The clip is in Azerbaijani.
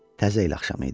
Təzə il axşamı idi.